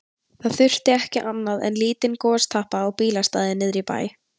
Það þurfti ekki annað en lítinn gostappa á bílastæði niðri í bæ.